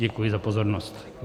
Děkuji za pozornost.